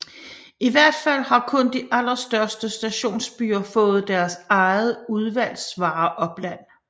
I hvert fald har kun de allerstørste Stationsbyer faaet deres eget Udvalgsvareopland